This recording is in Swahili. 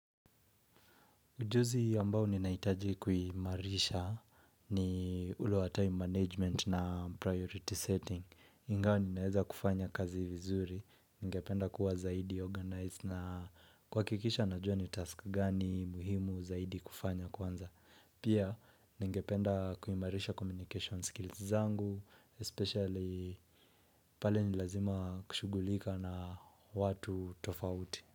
Ujuzi ambao ni naitaji kuhimarisha ni ule wa time management na priority setting. Angao ni naeza kufanya kazi vizuri, nigependa kuwa zaidi organize na kwa kikisha na jua ni task gani muhimu zaidi kufanya kwanza. Pia nigependa kuhimarisha communication skills zangu, especially pale nilazima kushugulika na watu tofauti.